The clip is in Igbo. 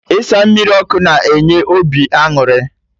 Ịsa mmiri ọkụ na enye obi aṅụrị